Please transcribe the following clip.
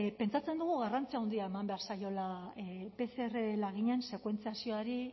pentsatzen dugu garrantzi handia eman behar zaiola pcr laginen sekuentziazioari